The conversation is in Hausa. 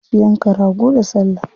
Za su yanka rago da salla.